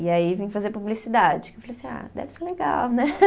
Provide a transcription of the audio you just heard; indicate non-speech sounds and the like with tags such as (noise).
E aí vim fazer publicidade, que eu falei assim, ah, deve ser legal, né? (laughs)